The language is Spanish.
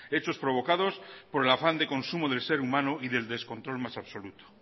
hechos provocados por el afán de consumo del ser humano y del descontrol más absoluto